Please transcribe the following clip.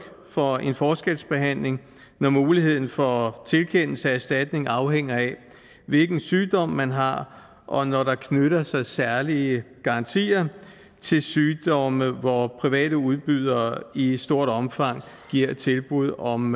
for en forskelsbehandling når muligheden for tilkendelse af erstatning afhænger af hvilken sygdom man har og når der knytter sig særlige garantier til sygdomme hvor private udbydere i i stort omfang giver tilbud om